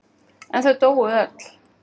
En þau dóu öll.